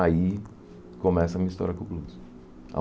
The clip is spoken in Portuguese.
Aí começa a minha história com o blues.